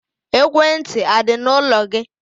Ekwentị a dị n'ụlọ gị?